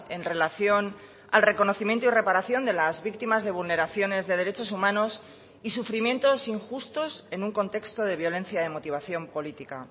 en relación al reconocimiento y reparación de las víctimas de vulneraciones de derechos humanos y sufrimientos injustos en un contexto de violencia de motivación política